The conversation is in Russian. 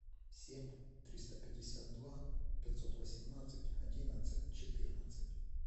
семь триста пятьдесят два пятьсот восемнадцать одиннадцать четырнадцать